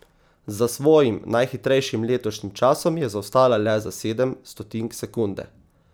Za svojim najhitrejšim letošnjim časom je zaostala le za sedem stotink sekunde.